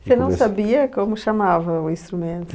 Você não sabia como chamava o instrumento?